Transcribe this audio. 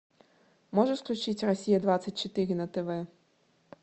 можешь включить россия двадцать четыре на тв